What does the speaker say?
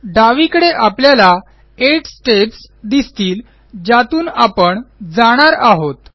डावीकडे आपल्याला 8 स्टेप्स दिसतील ज्यातून आपण जाणार आहोत